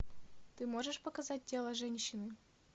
ты можешь показать тело женщины